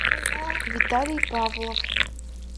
виталий павлов